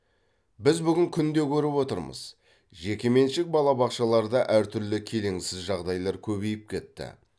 біз бүгін күнде көріп отырмыз жекеменшік балабақшаларда әртүрлі келеңсіз жағдайлар көбейіп кетті